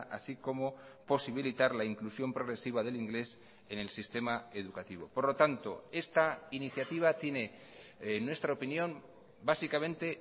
así como posibilitar la inclusión progresiva del inglés en el sistema educativo por lo tanto esta iniciativa tiene en nuestra opinión básicamente